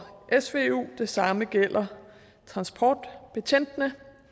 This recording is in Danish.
det samme gælder transportbetjentene